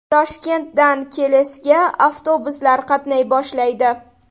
Toshkentdan Kelesga avtobuslar qatnay boshlaydi.